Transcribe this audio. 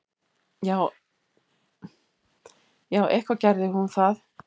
Já, eitthvað gerði hún það.